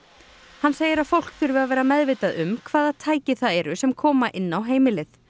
hann segir að fólk þurfi að vera meðvitað um hvaða tæki það eru sem koma inn á heimilið